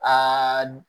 Aa